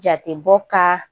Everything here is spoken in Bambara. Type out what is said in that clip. Jatebɔ ka